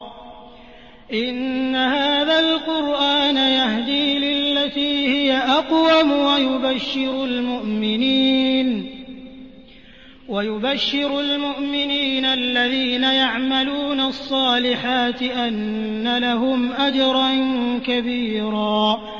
إِنَّ هَٰذَا الْقُرْآنَ يَهْدِي لِلَّتِي هِيَ أَقْوَمُ وَيُبَشِّرُ الْمُؤْمِنِينَ الَّذِينَ يَعْمَلُونَ الصَّالِحَاتِ أَنَّ لَهُمْ أَجْرًا كَبِيرًا